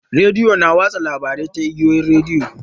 Rediyo na watsa labarai ta igiyoyin rediyo.